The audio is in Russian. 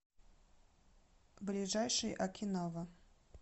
ближайший окинава